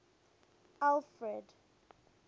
alfred